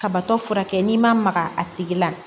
Kabatɔ fura kɛ n'i ma maga a tigi la